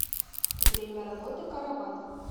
время работы караван